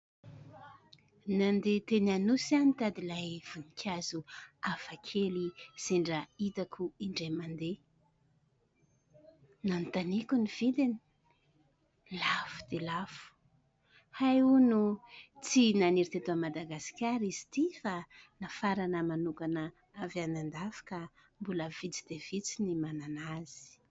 Nandeha teny Anosy aho nitady ilay voninkazo afa kely sendra itako indray mandeha. Nanontaniko ny vidiny lafo dia lafo, hay hono tsy naniry teto Madagasikara izy ity fa nafarana manokana avy anan-dafy ka mbola vitsy dia vitsy ny manana azy.